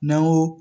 N'an ko